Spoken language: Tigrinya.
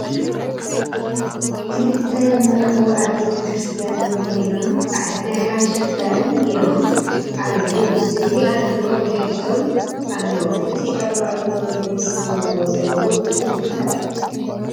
ክልተ መርዑ ኣብ ቤተ ክርስትያን ኮይኖም ፃዕዳ ናይ ሓበሻ ክዳን ጌሮም ኣለዉ ስእሊ አድህኖ ብድሕሪቶም ኣሎ እቲ ኣብ ማእገሮም ለቢሶምዎ ዘለዉ እንታይ ይበሃል?